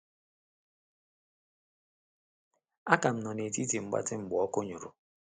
A ka m nọ na etiti mgbatị mgbe ọkụ nyụ̀rụ̀.